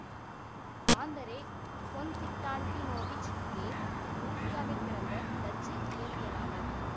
Andre Konstantinovich Geim உருசியாவில் பிறந்த Dutch இயற்பியலாளர்